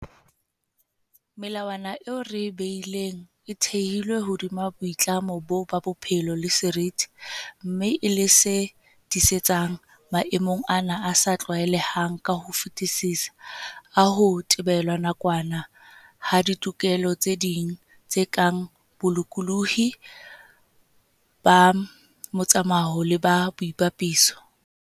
Melawana eo re e behileng e thehilwe hodima boitlamo boo ba bophelo le seriti, mme e le se tiisetsang - maemong ana a sa tlwaelehang ka ho fetisisa - a ho thibelwa nakwana ha ditokelo tse ding, tse kang bolokolohi ba motsamao le ba boipapiso.